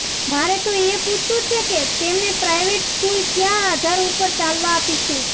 મારે તો એ પૂછવું છે કે તેમણે પ્રાઈવેટ સ્કૂલ ક્યાં આધાર ઉપર ચાલવા આપી છે